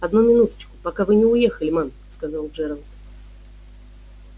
одну минуточку пока вы не уехали мэм сказал джералд